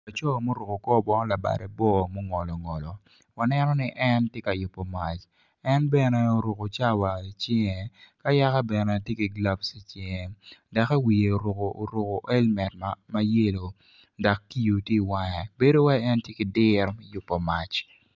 Laco ma oruko kor bongo labade bor mungolongolo waneno ni en tye ka yubo mac en bene oruko cawa i cinge ka yaka bene tye ki gulab i cinge doki wiye oruko elmet ma yelo dok kiyo tye i wange bedo wai en tye ki diro me yubo mac.